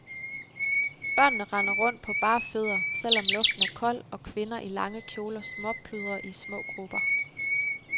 Børnene render rundt på bare fødder, selv om luften er kold, og kvinder i lange kjoler småpludrer i små grupper.